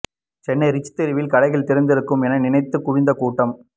Chennai Ritchie தெருவில் கடைகள் திறந்திருக்கும் என நினைத்துக் குவிந்த கூட்டம்